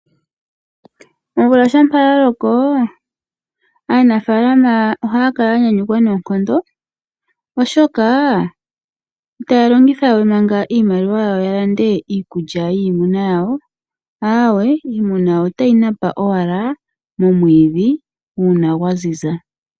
Omvula shampa ya loko ,aanafalama ohaya kala ya nyanyukwa noonkondo oshoka itaya longitha we manga iimaliwa ya wo ya lande iikulya yiimuna yawo, aawe iimuna otayi nampa owala mo mwiidhi uuna gwa ziza.